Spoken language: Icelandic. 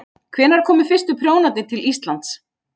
Hvenær komu fyrstu prjónarnir til Íslands?